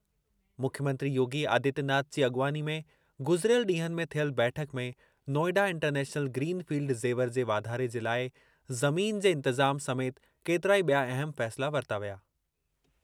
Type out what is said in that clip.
मुख्यमंत्री योगी आदित्यनाथ जी अॻवानी में गुज़िरियल ॾींहनि में थियल बैठक में Noida international green field Jewar जे वाधारे जे लाइ ज़मीन जे इंतिज़ाम समेति केतिरा ई बि॒या अहम फ़ैसिला वरिता विया।